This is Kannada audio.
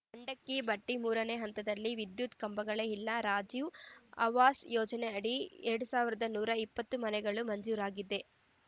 ಮಂಡಕ್ಕಿ ಭಟ್ಟಿಮೂರನೇ ಹಂತದಲ್ಲಿ ವಿದ್ಯುತ್‌ ಕಂಬಗಳೇ ಇಲ್ಲ ರಾಜೀವ್‌ ಆವಾಸ್‌ ಯೋಜನೆಯಡಿ ಎರಡ್ ಸಾವಿರನೂರ ಇಪ್ಪತ್ತು ಮನೆಗಳು ಮಂಜೂರಾಗಿದ್ದು